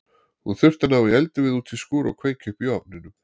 Hún þurfti að ná í eldivið út í skúr og kveikja upp í ofnunum.